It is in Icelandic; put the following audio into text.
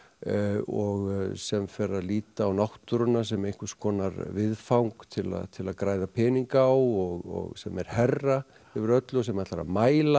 og sem fer að líta á náttúruna sem einhvers konar viðfang til að til að græða peninga á og sem er herra yfir öllu sem ætlar að mæla